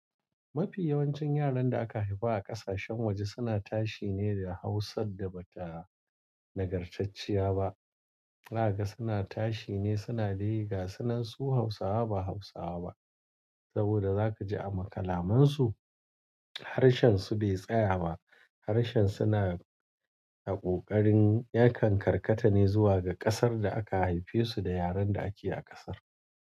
Mafi yawancin yaran da aka haifa a ƙasashen waje suna tashi ne da Hausa da ba ta nagartacciya ba. Zaka ga suna tashi ne, suna dai gasunan su Hausawa ba Hausawa ba saboda za ka ji a makalamansu. Harshen su bai tsaya ba, harshen suna a ƙoƙarin yakan karkata ne zuwa ga ƙasar da aka haife su da yaren da ake a ƙasar.